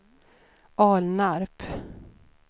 Alnarp